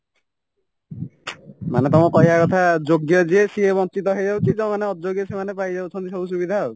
ମାନେ ତମ କହିବା କଥା ଯୋଗ୍ୟ ଯିଏ ସିଏ ବଞ୍ଚିତ ହେଇଯାଉଛି ଯୋଉମାନେ ଅଯୋଗ୍ୟ ସେଇମାନେ ପାଇଯାଉଛନ୍ତି ସବୁ ସୁବିଧାଆଉ